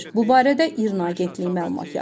Bu barədə İRNA agentliyi məlumat yayıb.